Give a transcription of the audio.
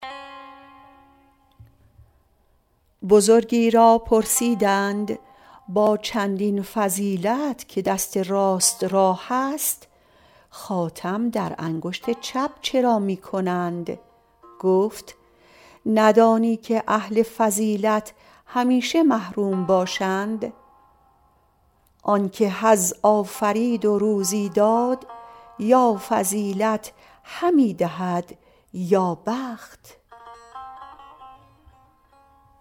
بزرگی را پرسیدند با چندین فضیلت که دست راست را هست خاتم در انگشت چپ چرا می کنند گفت ندانی که اهل فضیلت همیشه محروم باشند آن که حظ آفرید و روزی داد یا فضیلت همی دهد یا بخت